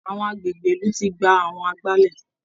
Àwọn agbègbè ìlú ti gba àwọn agbálẹ̀